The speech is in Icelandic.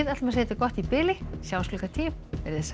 segjum þetta gott í bili sjáumst klukkan tíu veriði sæl